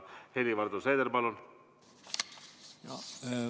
Helir-Valdor Seeder, palun!